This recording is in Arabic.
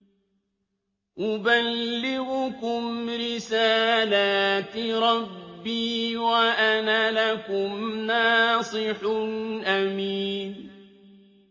أُبَلِّغُكُمْ رِسَالَاتِ رَبِّي وَأَنَا لَكُمْ نَاصِحٌ أَمِينٌ